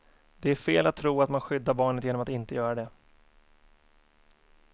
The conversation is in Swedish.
Det är fel att tro att man skyddar barnet genom att inte göra det.